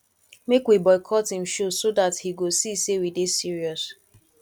make we boycott im show so dat he go see say we dey serious